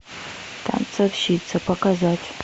танцовщица показать